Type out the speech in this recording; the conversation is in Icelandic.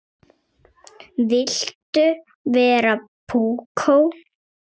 Viltu vera púkó?